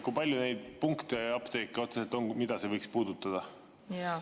Kui palju neid apteeke otseselt on, mida see võiks puudutada?